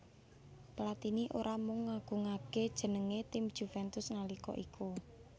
Platini ora mung ngagungaké jenengé tim Juventus nalika iku